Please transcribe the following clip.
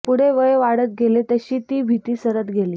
पुढे वय वाढत गेले तशी ती भीती सरत गेली